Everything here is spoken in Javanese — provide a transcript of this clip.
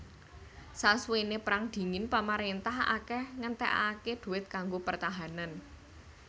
Sasuwené Perang Dingin pamarintah akèh ngentèkaké duit kanggo pertahanan